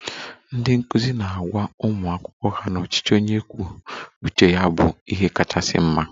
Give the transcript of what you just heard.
Ndị nkụzi na-agwa ụmụ akwụkwọ ha na ọchịchị onye kwuo uche ya bụ ihe kachasị mma